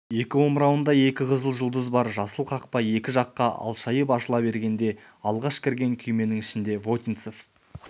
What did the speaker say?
екі омырауында екі қызыл жұлдыз бар жасыл қақпа екі жаққа алшайып ашыла бергенде алғаш кірген күйменің ішінде вотинцев